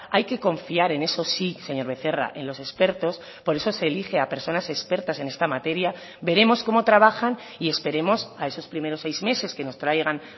hay que confiar en eso sí señor becerra en los expertos por eso se elige a personas expertas en esta materia veremos cómo trabajan y esperemos a esos primeros seis meses que nos traigan